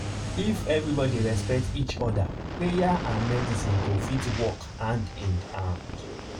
if everybody respect each other prayer and medicine go fit work hand in hand.